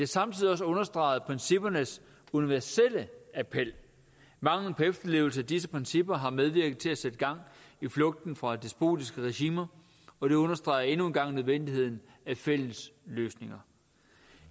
samtidig også understreget princippernes universelle appel manglen på efterlevelse af disse principper har medvirket til at sætte gang i flugten fra despotiske regimer og det understreger endnu en gang nødvendigheden af fælles løsninger